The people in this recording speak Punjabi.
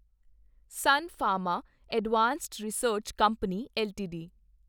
ਸੁਨ Pharma Advanced Research Company LTD